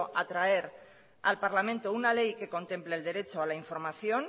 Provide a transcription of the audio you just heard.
a traer al parlamento una ley que contemple el derecho a la información